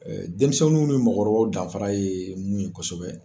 denminsɛnniw ni mɔgɔkɔrɔbaw danfara ye mun ye kosɛbɛ.